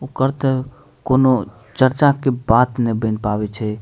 ओकर ते कोनो चर्चा के बात नए बन पावे छै।